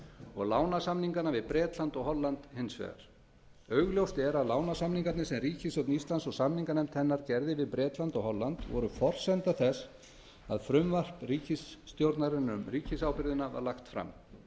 og lánasamninganna við bretland og holland hins vegar augljóst er að lánasamningarnir sem ríkisstjórn íslands og samninganefnd hennar gerði við bretland og holland voru forsenda þess að frumvarp ríkisstjórnarinnar um ríkisábyrgðina var lagt fram